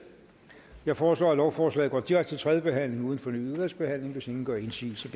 jeg foreslår at lovforslaget går direkte til tredje behandling uden fornyet udvalgsbehandling hvis ingen gør indsigelse